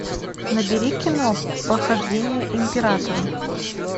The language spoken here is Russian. набери кино похождения императора